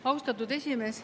Austatud esimees!